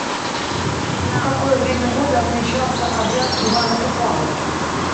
в какое время года отмечался обряд ивана купалы